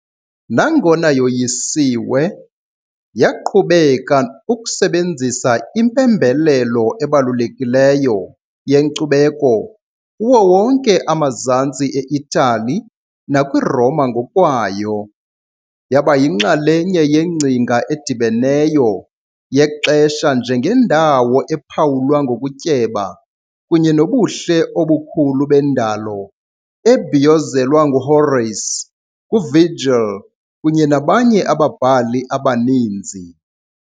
Nangona yoyisiwe, yaqhubeka ukusebenzisa impembelelo ebalulekileyo yenkcubeko kuwo wonke amazantsi eItali nakwiRoma ngokwayo, yaba yinxalenye yengcinga edibeneyo yexesha njengendawo ephawulwa ngokutyeba kunye nobuhle obukhulu bendalo, ebhiyozelwa nguHorace, nguVirgil kunye nabanye ababhali abaninzi.